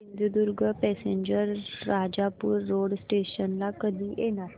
Sindhudurg passenger Rajapur road station ला कधी येणार